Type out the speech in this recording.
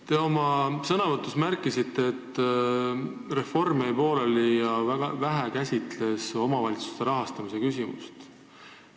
Te oma sõnavõtus märkisite, et reform jäi pooleli ja käsitles vähe omavalitsuste rahastamise küsimust.